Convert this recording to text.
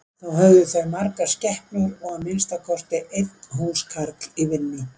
Þá höfðu þau margar skepnur og að minnsta kosti einn húskarl í vinnu.